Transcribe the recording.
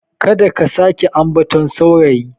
Kada ka sake ambaton sauraye.